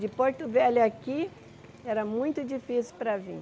De Porto Velho à aqui, era muito difícil para vir.